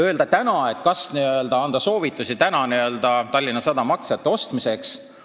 Kas täna anda soovitusi Tallinna Sadama aktsiate ostmiseks?